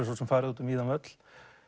svo sem farið út um víðan völl